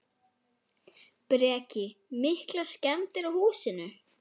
Breki: Miklar skemmdir á húsinu?